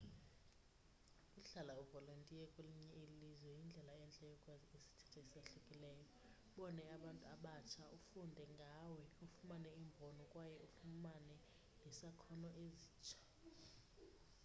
ukuhlala uvolontiye kwelinye ilizwe yindlela entle yokwazi isithethe esahlukileyo ubone abantu abatsha ufunde ngawe ufumane imbono kwaye ufuname nezakhono ezitsha